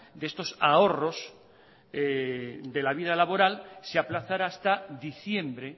de estos ahorros de la vida laboral se aplazara hasta diciembre